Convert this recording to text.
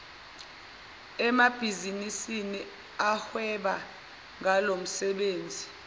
emabhizinisini ahweba ngalomsebenzi